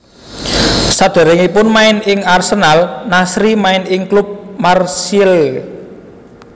Saderengipun main ing Arsenal Nasri main ing klub Marseille